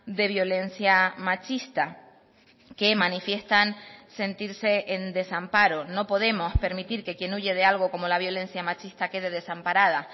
de violencia machista que manifiestan sentirse en desamparo no podemos permitir que quien huye de algo como la violencia machista quede desamparada